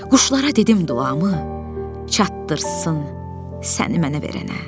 Quşlara dedim duamı çatdırsın səni mənə verənə.